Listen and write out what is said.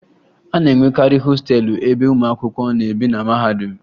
A na-enwekarị hostelụ ebe ụmụ akwụkwọ na-ebi na mahadum